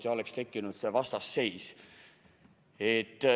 Siis oleks tekkinud vastasseis.